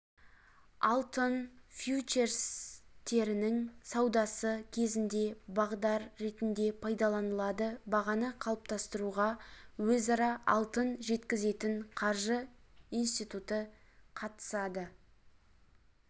алтын фьючерстерінің саудасы кезінде бағдар ретінде пайдаланылады бағаны қалыптастыруға өзара алтын жеткізетін қаржы институты қатысады